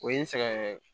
O ye n sɛgɛn yɛrɛ ye